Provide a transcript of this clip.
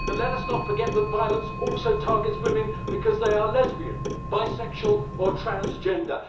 Let us not forget that violence also targets women because they are lesbian, bisexual or transgender.